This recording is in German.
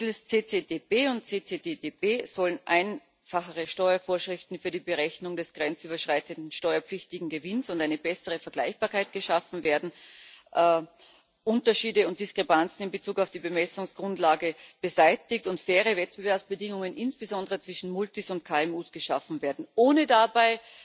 Mittels CCTB und CCTTB sollen einfachere Steuervorschriften für die Berechnung des grenzüberschreitenden steuerpflichtigen Gewinns und eine bessere Vergleichbarkeit geschaffen werden, Unterschiede und Diskrepanzen in Bezug auf die Bemessungsgrundlage beseitigt und faire Wettbewerbsbedingungen insbesondere zwischen Multis und KMU geschaffen werden, ohne dabei